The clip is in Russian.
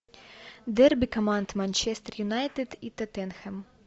дерби команд манчестер юнайтед и тоттенхэм